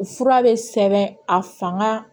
U fura bɛ sɛbɛn a fanga